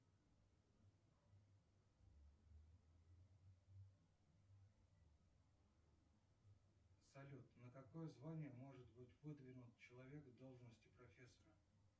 салют на какое звание может быть выдвинут человек в должности профессора